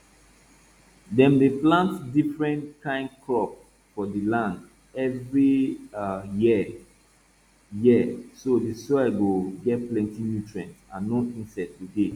dem dey plant diffren kain crop for di land every um year year so di soil go get plenti nutrient and no insects go dey